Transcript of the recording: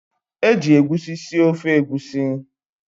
Eji egusi sie ofe Egusi.